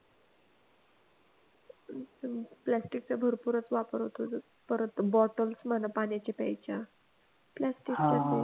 प्लास्टिकचा भरपूर वापर होतोय परत bottles म्हणा पाण्याच्या प्यायच्या प्लास्टिकच्याच आहे